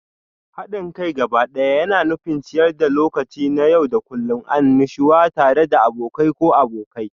Haɗin kai gabaɗaya yana nufin ciyar da lokaci na yau da kullun, annashuwa tare da abokai ko abokai.